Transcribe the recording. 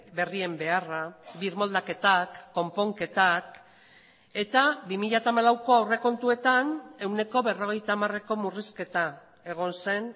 berrien beharra birmoldaketak konponketak eta bi mila hamalauko aurrekontuetan ehuneko berrogeita hamareko murrizketa egon zen